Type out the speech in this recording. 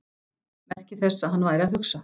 Merki þess að hann væri að hugsa.